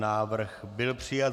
Návrh byl přijat.